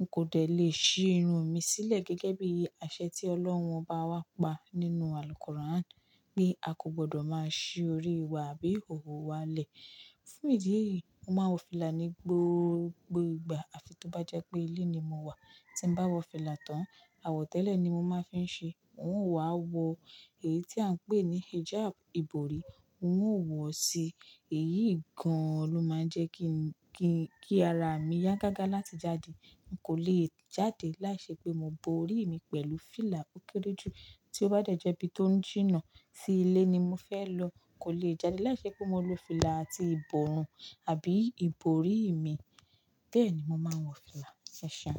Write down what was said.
N kò dẹ̀ le è ṣí irun mi sílẹ̀ gẹ́gẹ́ bí àṣẹ tí Ọlọ́run Obá wá pa nínú Àlùkuráni, pé a kò gbọdọ̀ máa ṣí orí wa àbí ihóhó wa lẹ̀. Fún ìdí èyí, mo máa ń wọ fìlà ní gbogbo ìgbà àfi tó bá jẹ́ pé ilé ni mo wà. Tí n bá wọ fìlà tán, àwọ̀tẹ́lẹ̀ ni mo máa ń fi ṣe é, n ó wá wọ èyí tí à ń pè ní hijáb ìborí, n ó wọ̀ sí i. Èyí gan-an ló máa ń jẹ́ kí, kí, kí ara mi yá gágá láti jáde. N kò le è jáde láìṣẹ pé mo bo ori mi pẹ̀lú fìlà o kere jù. Tí ó bá de jẹ́ ibi tó jìnnà, sí ilé ni mo fẹ́ lọ, kò le è jáde láìṣẹ́ pé mo lo fìlà àti ìbòrun àbí ìbòrí mi. Bẹ́ẹ̀ ni mo máa ń wọ fìlà. E ṣẹ̀un.